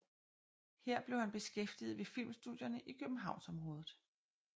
Her blev han beskæftiget ved filmstudierne i Københavnsområdet